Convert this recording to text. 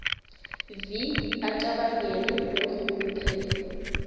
vi acabangele neenrhuluphelo